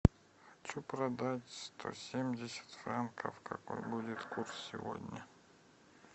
хочу продать сто семьдесят франков какой будет курс сегодня